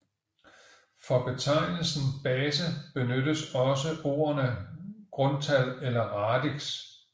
For betegnelsen base benyttes også ordene grundtal eller radix